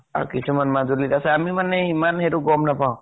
আৰু কিছুমান মাজুলীত আছে। আমি মানে ইমান সেটো গম নাপাওঁ।